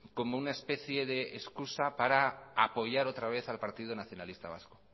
como una especie de excusa para apoyar otra vez al partido nacionalista vasco